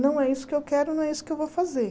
Não é isso que eu quero, não é isso que eu vou fazer.